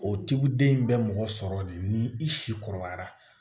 O tigiw den bɛ mɔgɔ sɔrɔ de ni i si kɔrɔbayara